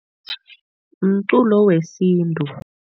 Mculo wesintu.